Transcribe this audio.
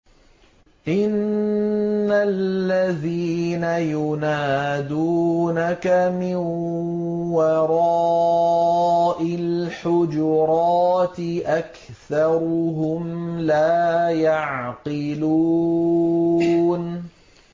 إِنَّ الَّذِينَ يُنَادُونَكَ مِن وَرَاءِ الْحُجُرَاتِ أَكْثَرُهُمْ لَا يَعْقِلُونَ